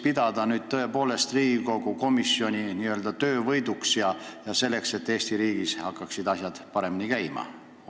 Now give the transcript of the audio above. Seda võib nüüd tõepoolest pidada Riigikogu komisjoni töövõiduks, tänu millele Eesti riigis hakkavad asjad ehk paremini käima.